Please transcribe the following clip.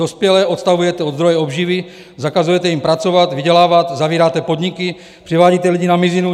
Dospělé odtahujete od zdroje obživy, zakazujete jim pracovat, vydělávat, zavíráte podniky, přivádíte lidi na mizinu.